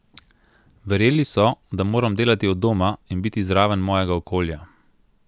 Verjeli so, da moram delati od doma in biti zraven mojega okolja.